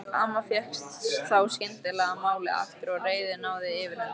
Amma fékk þá skyndilega málið aftur og reiðin náði yfirhöndinni.